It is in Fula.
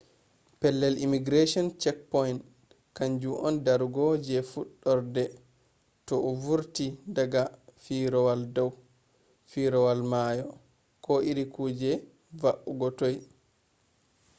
pellel immigration checkpoint kanju on darugo je fuɗɗarde to a vurti daga firawol dau firawol mayo. ko iri kuje va’ugo toi